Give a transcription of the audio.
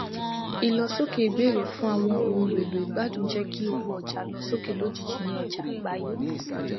ìlọsókè ìbéèrèfún àwọn ohunèlò ìgbádùn jẹ kí owó ọjà lọ sókè lójijì ní ọjà àgbáyé